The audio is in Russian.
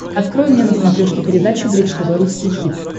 открой мне на смотрешке передачу бридж тв русский хит